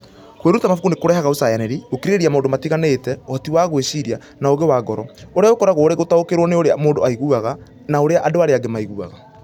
Kwĩruta mabuku nĩ kũrehaga ũcayanĩri, gũkirĩrĩria maũndũ matiganĩte, ũhoti wa gwĩciria, na ũũgĩ wa ngoro, ũrĩa ũkoragwo ũrĩ gũtaũkĩrũo nĩ ũrĩa mũndũ aiguaga, na ũrĩa andũ arĩa angĩ maiguaga.